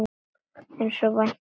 Eins og vænta mátti.